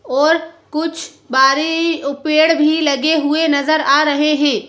और कुछ बारे पेड़ भी लगे हुए नजर आ रहे हैं।